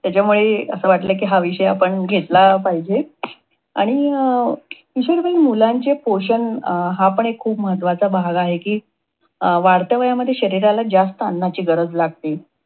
त्यांच्यामुळे अस वाटल आपण हा विषय घेतला पाहिजे. आणि अं किशोरवयीन मुलांचे पोषण हा पण एक खूप महत्वाचा भाग आहे, कि वाढत्या वयामध्ये शरीराला जास्त अन्नाची गरज लागते.